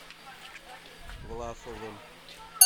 власовым